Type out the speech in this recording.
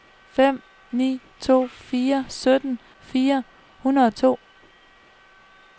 fem ni to fire sytten fire hundrede og to